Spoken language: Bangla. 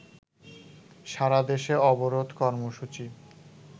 সারাদেশে অবরোধ কর্মসূচি